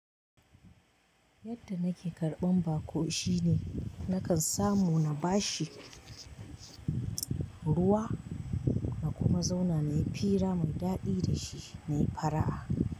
Yadda nake karɓan baƙo shine nakan samu na bashi ruwa na kuma zauna na yi fira mai daɗi da shi na yi fara'a.